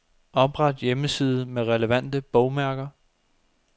Opret hjemmeside med relevante bogmærker.